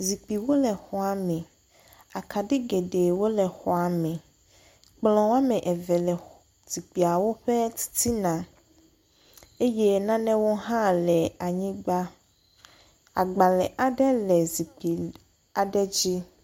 Zikpuiwo le xɔa me. Akaɖi geɖewo le xɔa me. Kplɔ woa me eve le zikpuiawo ƒe titina eye nanewo hã le anyigba. Agbale aɖe le zikpui aɖe dzi.